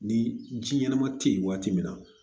Ni ji ɲɛnama tɛ yen waati min na